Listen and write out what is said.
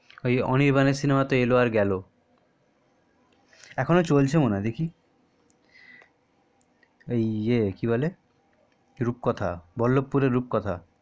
ওই অনির্বাণের সিনেমাতে এলো আর গেলো এখনো চলছে মনে হয় দেখি ওই ইএ কি বলে রূপকথা বল্লভপুরের রূপকথা